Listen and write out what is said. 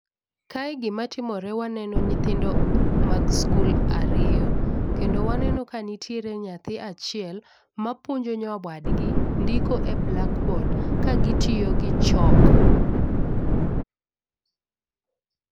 Kae gima timore waneno nyithindo mag sikul ariyo kendo waneno ka nitiere nyathi achiel mapuonjo nyawadgi ndiko e blakbod kagitiyo gi chok.